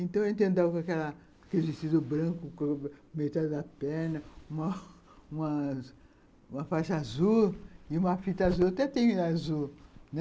Então, eu andava com aquela, aquele vestido branco, com metade da perna, uma faixa azul e uma fita azul, até tenho azul, né.